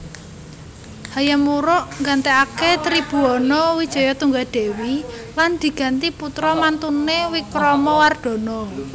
Hayam Wuruk nggantèkaké Tribhuwana Wijayatunggadewi lan diganti putra mantuné Wikramawardhana